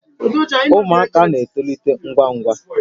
Ụmụaka na-etolite ngwa ngwa